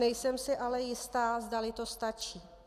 Nejsem si ale jistá, zdali to stačí.